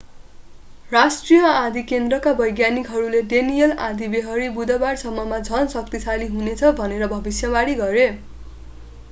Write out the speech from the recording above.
राष्ट्रिय आँधी केन्द्रका वैज्ञानिकहरूले डेनिएल आँधीबेहरी बुधबाररसम्ममा झन् शक्तिशाली हुनेछ भनेर भविष्यवाणी गरे